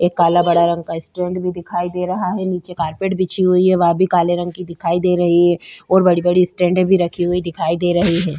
एक काला बड़ा रंग का स्टैंड भी दिखाई दे रहा है नीचे कारपेट बिछी हुई है वह भी काले रंग की दिखाई दे रही है और बड़ी-बड़ी स्टैंडे भी रखी हुई दिखाई दे रही है।